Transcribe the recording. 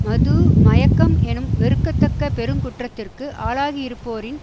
மது மயக்கம் எனும் வெறுக்கத்தக்க பெருங்குற்றத்திற்கு ஆளாகியிருப்போரின்